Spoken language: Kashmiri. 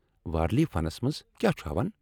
وارلی فنس منز کیٛاہ چُھ ہاوان ؟